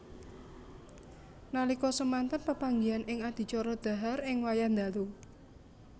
Nalika semanten pepanggihan ing adicara dhahar ing wayah dalu